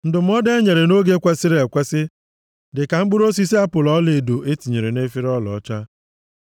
Ndụmọdụ e nyere nʼoge kwesiri ekwesi dị ka mkpụrụ osisi apụl ọlaedo e tinyere nʼefere ọlaọcha.